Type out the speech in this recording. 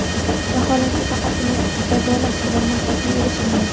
Vaholanki, faqatgina jazolash bilan maqsadga erishilmaydi.